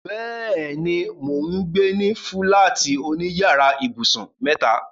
Bẹ́ẹ̀ni, mò ń gbé ní fúláàtì oní yàrá ibùsùn mẹ́ta.